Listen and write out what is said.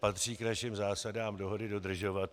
Patří k našim zásadám dohody dodržovat.